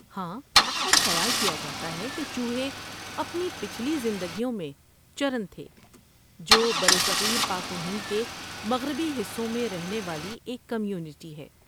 ہاں، اور خیال کیا جاتا ہے کہ چوہے اپنی پچھلی زندگیوں میں چرن تھے، جو برصغیر پاک و ہند کے مغربی حصوں میں رہنے والی ایک کمیونٹی ہے۔